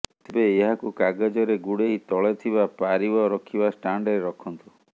ତେବେ ଏହାକୁ କାଗଜରେ ଗୁଡେଇ ତଳେ ଥିବା ପାରିବ ରଖିବା ଷ୍ଟାଣ୍ଡରେ ରଖନ୍ତୁ